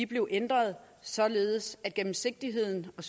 blev ændret således at gennemsigtigheden og